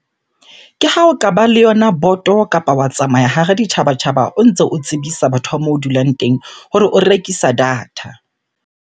Ke ha o kaba le yona boto kapa wa tsamaya hare ditjhabatjhaba o ntse o tsebisa batho ba moo dulang teng hore o rekisa data.